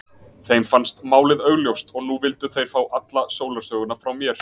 Þeim fannst málið augljóst og nú vildu þeir fá alla sólarsöguna frá mér.